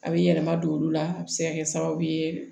A bɛ yɛlɛma don olu la a bɛ se ka kɛ sababu ye